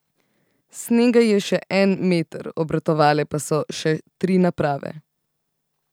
Snega je še en meter, obratovale pa so še tri naprave.